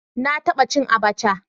Na taba cin Abacha